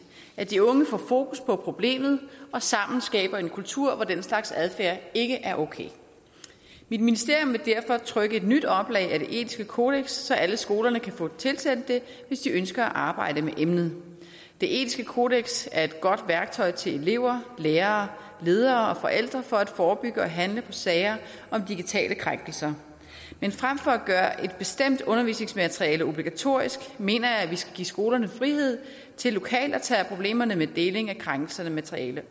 at de unge får fokus på problemet og sammen skaber en kultur hvor den slags adfærd ikke er okay mit ministerium vil derfor trykke et nyt oplag af det etiske kodeks så alle skolerne kan få det tilsendt hvis de ønsker at arbejde med emnet det etiske kodeks er et godt værktøj til elever lærere ledere og forældre for at forebygge og handle på sager om digitale krænkelser men fremfor at gøre et bestemt undervisningsmateriale obligatorisk mener jeg at vi skal give skolerne frihed til lokalt at tage problemerne med deling af krænkende materiale